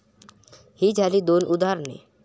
ही झाली दोन उदाहरणे.